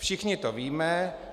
Všichni to víme.